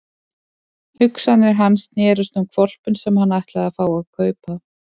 Hugsanir hans snerust um hvolpinn sem hann ætlaði að fá að kaupa.